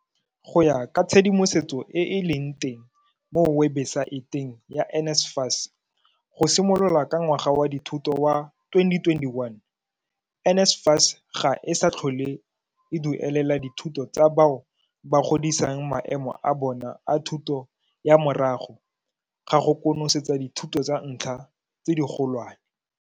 Go ya ka tshedimosetso e e leng teng mo webesaeteng ya NSFAS, go simolola ka ngwaga wa dithuto wa 2021, NSFAS ga e sa tla tlhole e duelela dithuto tsa bao ba godisang maemo a bona a thuto ya morago ga go konosetsa dithuto tsa ntlha tse digolwane.